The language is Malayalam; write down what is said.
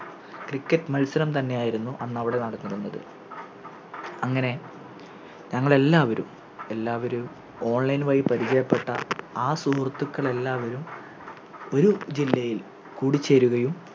Cricket മത്സരം തന്നെയായിരുന്നു അന്നവിടെ നടന്നിരുന്നത് അങ്ങനെ ഞങ്ങളെല്ലാവരും എല്ലാവരും Online വഴി പരിചയപ്പെട്ട ആ സുഹൃത്തുക്കളെല്ലാവരും ഒരു ജില്ലയിൽ കൂടിച്ചേരുകയും